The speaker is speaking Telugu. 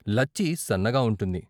లచ్చి సన్నగా వుంటుంది.